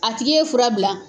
A tigi ye fura bila